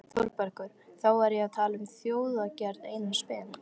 ÞÓRBERGUR: Þá var ég að tala um ljóðagerð Einars Ben.